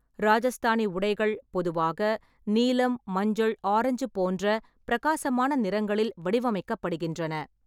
ராஜஸ்தானி உடைகள் பொதுவாக நீலம், மஞ்சள், ஆரஞ்சு போன்ற பிரகாசமான நிறங்களில் வடிவமைக்கப்படுகின்றன.